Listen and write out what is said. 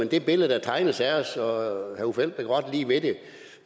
det billede der tegnes af os og herre uffe elbæk rørte lige ved det